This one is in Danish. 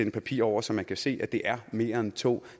et papir over så man kan se at det er mere end to og